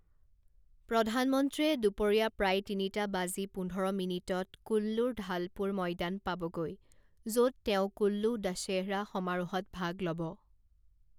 প্ৰধানমন্ত্ৰীয়ে দুপৰীয়া প্ৰায় তিনিটা বাজি পোন্ধৰ মিনিটত কুল্লূৰ ঢালপুৰ ময়দান পাবগৈ, য'ত তেওঁ কুল্লূ দশেহৰা সমাৰোহত ভাগ ল'ব।